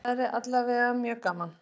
Það væri alla vega mjög gaman